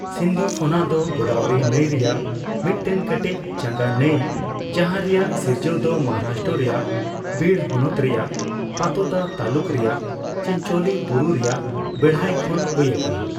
ᱥᱤᱱᱫᱷᱚᱯᱷᱚᱱᱟ ᱫᱚ ᱜᱳᱫᱟᱵᱚᱨᱤ ᱱᱟᱹᱭ ᱨᱮᱭᱟᱜ ᱢᱤᱫᱴᱮᱱ ᱠᱟᱹᱴᱤᱡ ᱪᱟᱝᱜᱟ ᱱᱟᱹᱭ ᱡᱟᱦᱟᱸ ᱨᱮᱭᱟᱜ ᱥᱤᱨᱡᱟᱹᱣ ᱫᱚ ᱢᱟᱦᱟᱨᱟᱥᱴᱨᱚ ᱨᱮᱭᱟᱜ ᱵᱤᱲ ᱦᱚᱱᱚᱛ ᱨᱮᱭᱟᱜ ᱯᱟᱛᱳᱫᱟ ᱛᱟᱹᱞᱩᱠ ᱨᱮᱭᱟᱜ ᱪᱤᱱᱪᱳᱞᱤ ᱵᱩᱨᱩ ᱨᱮᱭᱟᱜ ᱵᱮᱲᱦᱟᱭ ᱠᱷᱚᱱ ᱦᱩᱭ ᱟᱠᱟᱱᱟ ᱾